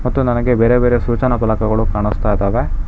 ಮತ್ತು ನನಗೆ ಬೇರೆ ಬೇರೆ ಸೂಚನಾ ಫಲಕಗಳು ಕಾಣಿಸ್ತಾ ಇದ್ದಾವೆ.